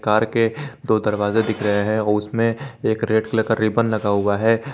Car के दो दरवाजे दिख रहे हैं वो उसमें एक रेड कलर का रिबन लगा हुआ है।